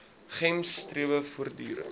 gems strewe voortdurend